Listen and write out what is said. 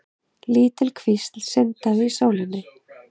Lítil kvísl sindraði í sólinni.